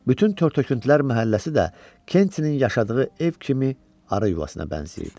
Bütün tör-töküntülər məhəlləsi də Kentinin yaşadığı ev kimi arı yuvasına bənzəyirdi.